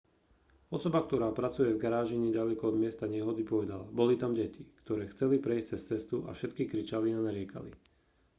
osoba ktorá pracuje v garáži neďaleko od miesta nehody povedala boli tam deti ktoré chceli prejsť cez cestu a všetky kričali a nariekali